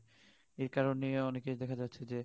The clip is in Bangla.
একারনে অনেকে দেখা যাচ্ছে যে